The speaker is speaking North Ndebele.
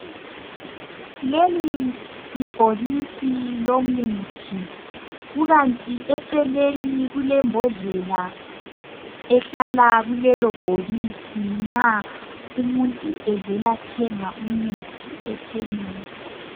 Leli libhokisi lomuthi, kukanti eceleni kule mbodlela ehlala kulelo bhokisi nxa umuntu evela thenga umuthi ekhemesi.